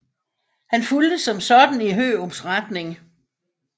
Han fulgte som sådan Hørups retning